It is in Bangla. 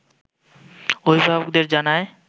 অভিভাবকদের জানায়